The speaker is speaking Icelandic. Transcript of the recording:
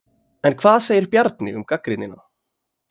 En hvað segir Bjarni um gagnrýnina?